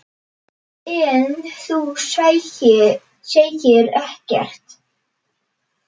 En þú segir ekkert.